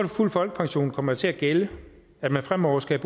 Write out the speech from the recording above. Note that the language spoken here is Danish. fulde folkepension kommer det til at gælde at man fremover skal